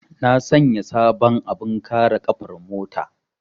Na sanya sabon abin kare ƙafar mota.